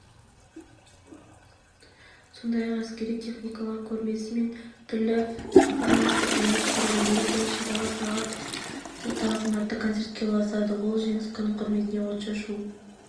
сондай-ақ әскери техникалардың көрмесі мен түрлі перфоманстар ұйымдастырылды мерекелік шаралар сағат де тағзым атты концертке ұласады ал жеңіс күнінің құрметіне отшашу